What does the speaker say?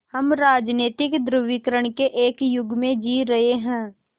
हम राजनीतिक ध्रुवीकरण के एक युग में जी रहे हैं